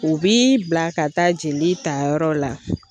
U bi bila ka taa jeli tayɔrɔw la